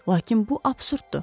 Lakin bu absurddur.